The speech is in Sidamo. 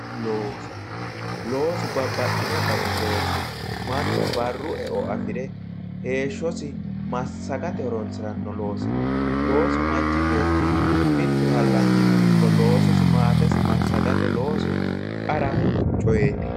loso, losu babbaxino dani loosi, mannu barru eo afire heeshshosi massaggate horonsiranno loosino. loosu manchi beetti mittu hallanyino ikko loososi massagate loosu qara coyeeti.